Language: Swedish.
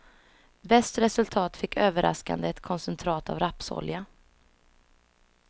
Bäst resultat fick överraskande ett koncentrat av rapsolja.